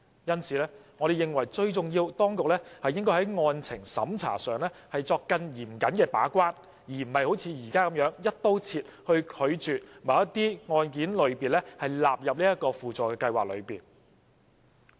因此，我們認為，最重要的是當局須在案情審查上作更嚴謹的把關，而不是"一刀切"地拒絕把某些個案類別納入輔助計劃。